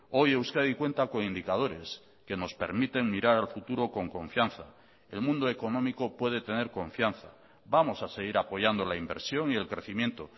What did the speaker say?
hoy euskadi cuenta con indicadores que nos permiten mirar al futuro con confianza el mundo económico puede tener confianza vamos a seguir apoyando la inversión y el crecimiento